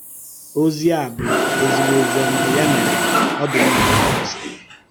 Òzì a bụ́ um ézìgbọ̀ òzì ọ́mà, yà mèrè um ọ dị́ mma íkwùsà ya